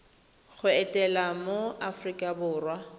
go etela mo aforika borwa